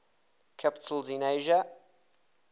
capitals in asia